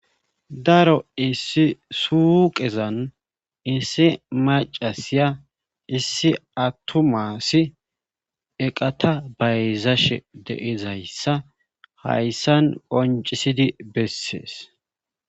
Daro issi suuqezan issi macasiya issi attumasi eqata bayzashe deizayssa hayssan qoncisidi bessees